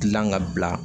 Gilan ka bila